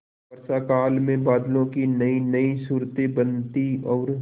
वर्षाकाल में बादलों की नयीनयी सूरतें बनती और